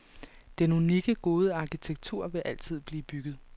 Den unikke, gode arkitektur vil altid blive bygget.